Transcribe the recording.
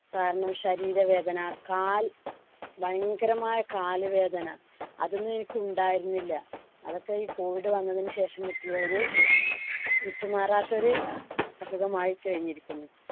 കാരണം ശരീര വേദന കാൽ ഭയങ്കരമായ കാലു വേദന അതൊന്നും എനിക്ക് ഉണ്ടായിരുന്നില്ല. അതൊക്കെ ഈ COVID വന്നതിനു ശേഷം കിട്ടിയ ഒരു വിട്ടുമാറാത്ത ഒരു അസുഖമായി കഴിഞ്ഞിരിക്കുന്നു.